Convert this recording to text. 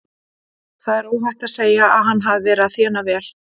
Það er óhætt að segja að hann hafi verið að þéna vel þar.